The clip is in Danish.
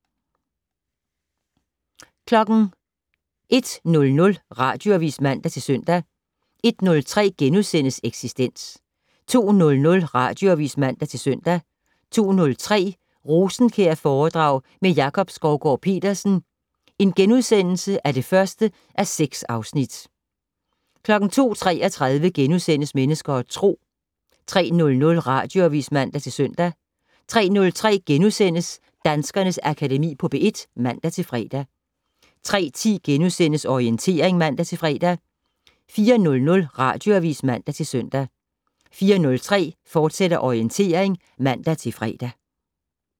01:00: Radioavis (man-søn) 01:03: Eksistens * 02:00: Radioavis (man-søn) 02:03: Rosenkjærforedrag med Jakob Skovgaard-Petersen (1:6)* 02:33: Mennesker og Tro * 03:00: Radioavis (man-søn) 03:03: Danskernes Akademi på P1 *(man-fre) 03:10: Orientering *(man-fre) 04:00: Radioavis (man-søn) 04:03: Orientering, fortsat (man-fre)